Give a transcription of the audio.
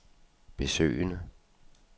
besøgende